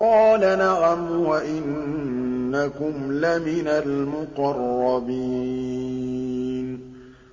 قَالَ نَعَمْ وَإِنَّكُمْ لَمِنَ الْمُقَرَّبِينَ